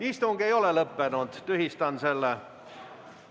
Istung ei ole lõppenud, tühistan selle.